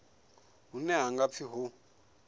hune ha nga pfi ho